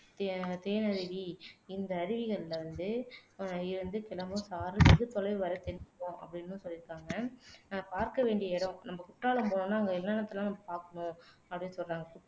தேனருவி இந்த அருவிகளில் இருந்து ஆஹ் இருந்து கிளம்பும் சாரல் வெகு தொலைவு வரை தென்படும் அப்படின்னும் சொல்லிறுக்காங்க நம்ம பார்க்க வேண்டிய இடம் நம்ம குற்றாலம் போனோம்னா அங்க என்னன்னத்தலாம் நம்ம பாக்கணும் அப்படின்னு சொல்றாங்க